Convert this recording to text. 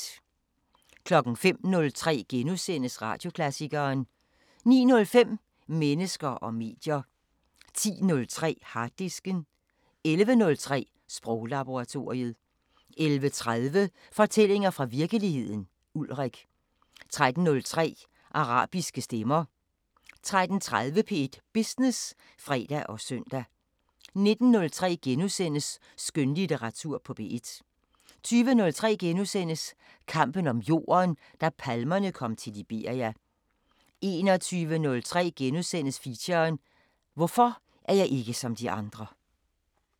05:03: Radioklassikeren * 09:05: Mennesker og medier 10:03: Harddisken 11:03: Sproglaboratoriet 11:30: Fortællinger fra virkeligheden – Ulrik 13:03: Arabiske Stemmer 13:30: P1 Business (fre og søn) 19:03: Skønlitteratur på P1 * 20:03: Kampen om jorden – da palmerne kom til Liberia * 21:03: Feature: Hvorfor er jeg ikke som de andre *